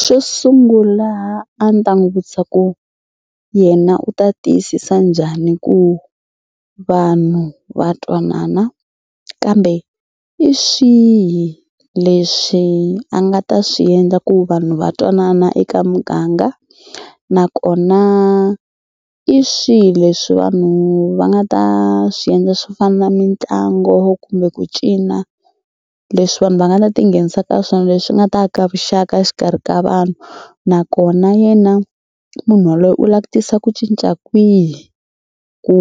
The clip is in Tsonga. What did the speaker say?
Xo sungula a ni ta n'wi vutisa ku yena u ta tiyisisa njhani ku vanhu va twanana kambe i swihi leswi a nga ta swi endla ku vanhu va twanana eka muganga nakona i swihi leswi vanhu va nga ta swi endla swo fana na mitlangu kumbe ku cina leswi vanhu va nga ta tinghenisa ka swona leswi nga ta aka vuxaka exikarhi ka vanhu nakona yena munhu waloye u la ku tisa ku cinca kwihi ku